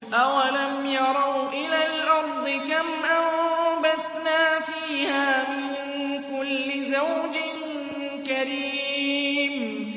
أَوَلَمْ يَرَوْا إِلَى الْأَرْضِ كَمْ أَنبَتْنَا فِيهَا مِن كُلِّ زَوْجٍ كَرِيمٍ